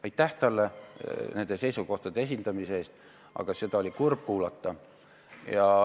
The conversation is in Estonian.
Aitäh talle nende seisukohtade esitamise eest, aga seda oli kurb kuulata.